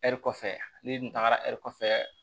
Ɛri kɔfɛ n'i dun tagara kɔfɛ